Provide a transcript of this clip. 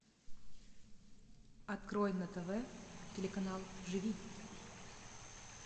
открой на тв телеканал живи